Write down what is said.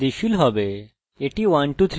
এটা স্ব বৃদ্ধিশীল হবে এটি 1234 হবে